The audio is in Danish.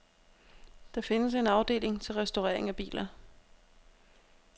Der findes en afdeling til restaurering af biler.